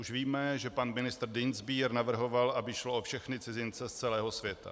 Už víme, že pan ministr Dienstbier navrhoval, aby šlo o všechny cizince z celého světa.